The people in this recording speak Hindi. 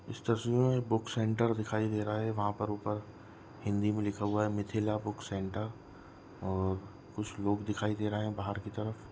इस तस्वीर मे बूक सेंटर दिखाई दे रहा है वह पर ऊपर हिन्दी मे लिखा हुआ है मिथिला बूक सेंटर और कुछ लोग दिखाई दे रहे है बाहर की तरफ़--